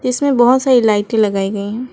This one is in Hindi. इसमें बहुत सारी लाइटें लगाई गई हैं।